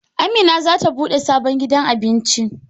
Amina zata bude sabon gidan Abinci